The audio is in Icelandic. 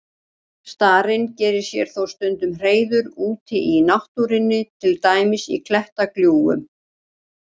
Starinn gerir sér þó stundum hreiður úti í náttúrunni, til dæmis í klettaglufum.